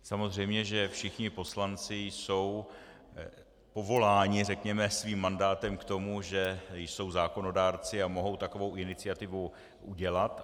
Samozřejmě, že všichni poslanci jsou povoláni, řekněme, svým mandátem k tomu, že jsou zákonodárci a mohou takovou iniciativu udělat.